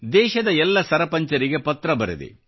ದೇಶದ ಎಲ್ಲ ಸರಪಂಚರಿಗೆ ಪತ್ರ ಬರೆದೆ